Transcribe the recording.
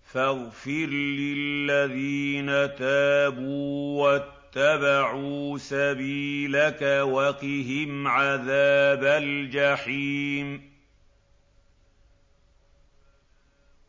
فَاغْفِرْ لِلَّذِينَ تَابُوا وَاتَّبَعُوا سَبِيلَكَ وَقِهِمْ عَذَابَ الْجَحِيمِ